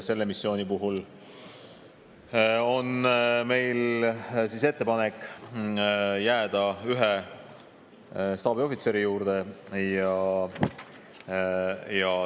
Selle missiooni puhul on meil ettepanek jääda ühe staabiohvitseri juurde.